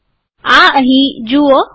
આ અહીં જુઓ